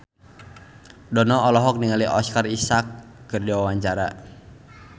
Dono olohok ningali Oscar Isaac keur diwawancara